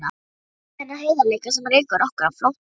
Ég skil ekki þennan heiðarleika sem rekur okkur á flótta.